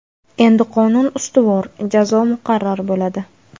Endi qonun ustuvor, jazo muqarrar bo‘ladi.